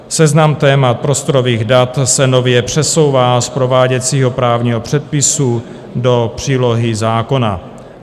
Seznam témat prostorových dat se nově přesouvá z prováděcího právního předpisu do přílohy zákona.